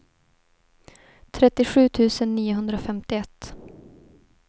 trettiosju tusen niohundrafemtioett